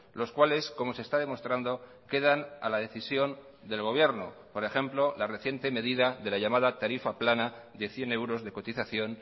los cuales como se está demostrando quedan a la decisión del gobierno por ejemplo la reciente medida de la llamada tarifa plana de cien euros de cotización